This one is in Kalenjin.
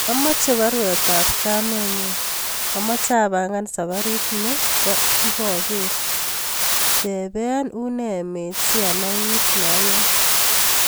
Amoche baruet ab kamenyun amoche apangaa safarit nebo ipoger , tepee une emet si anai kit naayae